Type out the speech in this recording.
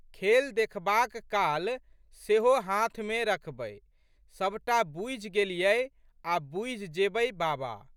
खेल देखबाक काल सेहो हाथमे रखबै सब टा बूझि गेलियै आ' बूझि जेबै बाबा।